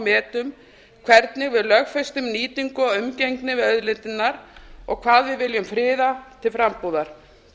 metum hvernig við lögfestingum nýtingu á umgengni við auðlindirnar og hvað við viljum friða til frambúðar